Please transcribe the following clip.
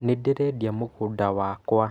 Nĩ ndĩ rendĩa mugunda wakwa.